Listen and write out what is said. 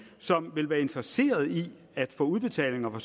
som ville være interesseret i at få udbetalinger fra